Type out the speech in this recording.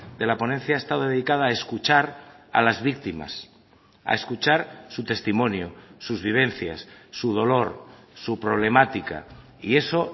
de la ponencia ha estado dedicada a escuchar a las víctimas a escuchar su testimonio sus vivencias su dolor su problemática y eso